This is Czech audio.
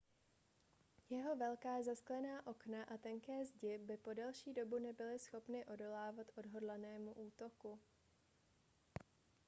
jeho velká zasklená okna a tenké zdi by po delší dobu nebyly schopny odolávat odhodlanému útoku